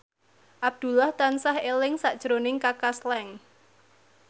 Abdullah tansah eling sakjroning Kaka Slank